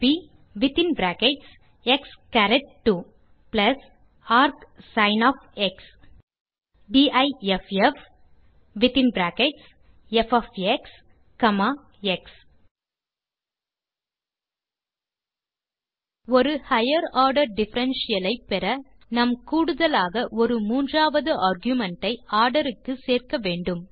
ப் expஎக்ஸ்2 ஆர்க்சின் difffஎக்ஸ் ஒரு ஹைகர் ஆர்டர் டிஃபரன்ஷியல் ஐ பெற நாம் கூடுதலாக ஒரு மூன்றாவது ஆர்குமென்ட் ஐ ஆர்டர் க்கு சேர்க்க வேண்டும்